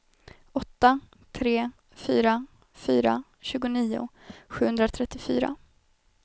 åtta tre fyra fyra tjugonio sjuhundratrettiofyra